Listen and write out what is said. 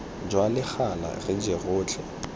jwa legala re je rotlhe